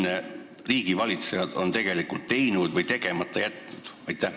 Mida riigivalitsejad on varem teinud või tegemata jätnud?